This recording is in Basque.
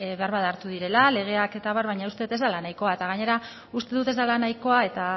beharbada hartu direla legeak eta abar baina uste dut ez dela nahikoa eta gainera uste dut ez dela nahikoa eta